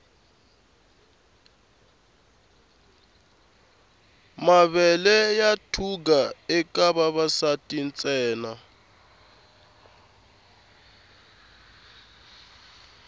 mavele ya thuga eka vavasati ntsena